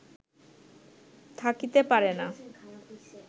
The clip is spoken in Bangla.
থাকিতে পারে না